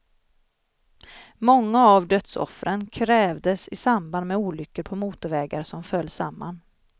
Många av dödsoffren krävdes i samband med olyckor på motorvägar som föll samman.